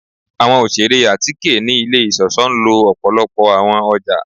Awọn oṣere atike ni ile iṣọṣọ nlo ọpọlọpọ awọn ọja